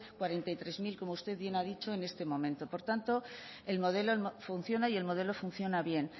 cuarenta y tres mil como usted bien ha dicho en este momento por tanto el modelo funciona y el modelo funciona bien